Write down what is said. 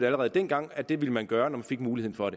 allerede dengang at det ville man gøre når man fik mulighed for